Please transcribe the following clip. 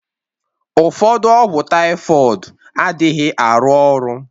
Ụfọdụ ọgwụ typhoid adịghị arụ ọrụ